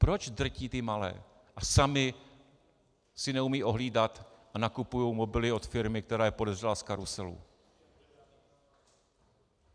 Proč drtí ty malé a sami si neumějí ohlídat a nakupují mobily od firmy, která je podezřelá z karuselu?